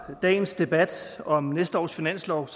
dagens debat om næste års finanslov